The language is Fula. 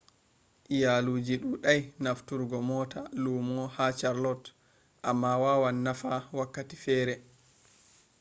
iyaaluuji dudai nafturgo mota luumo ha charlotte amma waawan nafa wakkati fere